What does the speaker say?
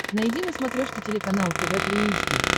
найди на смотрешке телеканал тв три эйч ди